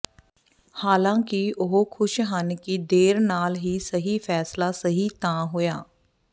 ਹਾਲਾਂਕਿ ਉਹ ਖ਼ੁਸ਼ ਹਨ ਕਿ ਦੇਰ ਨਾਲ ਹੀ ਸਹੀ ਫੈਸਲਾ ਸਹੀ ਤਾਂ ਹੋਇਆ